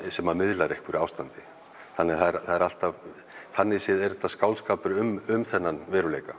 sem miðlar einhverju ástandi þannig að það er alltaf þannig séð er þetta skáldskapur um þennan veruleika